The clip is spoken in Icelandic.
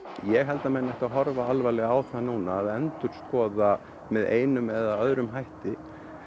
ég held að menn ættu að horfa alvarlega á það núna að endurskoða með einum eða öðrum hætti